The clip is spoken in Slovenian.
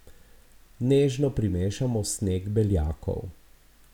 Nežno primešamo sneg beljakov.